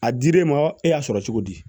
A dir'e ma e y'a sɔrɔ cogo di